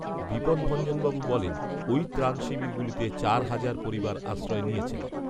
বিপদভঞ্জনবাবু বলেন ওই ত্রাণ শিবিরগুলিতে চার হাজার পরিবার আশ্রয় নিয়েছেন